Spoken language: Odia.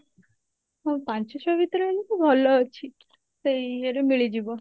ହଁ ପାଞ୍ଚ ଛଅ ଭିତରେ ହେଲେ ତ ଭଲ ଅଛି ସେଇ ଇଏ ରେ ମିଳିଯିବ